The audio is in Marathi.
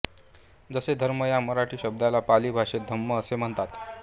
जसे धर्म या मराठी शब्दाला पाली भाषेत धम्म असे म्हणतात